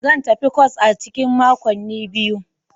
Zan tafi kwas a cikin makonni biyu.